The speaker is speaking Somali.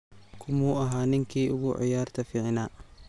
Kumuu ahaa ninkii ugu ciyaarta ficna?